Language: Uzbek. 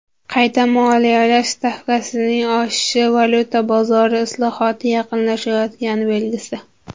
Qayta moliyalash stavkasining oshishi valyuta bozori islohoti yaqinlashayotgani belgisi.